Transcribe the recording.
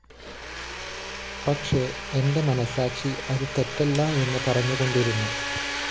പക്ഷെ എന്റെ മനസാക്ഷി അത്‌ തെറ്റല്ല എന്ന്‌ പറഞ്ഞുകൊണ്ടിരുന്നു